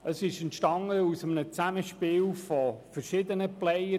Es entstand aus einem Zusammenspiel verschiedener Player.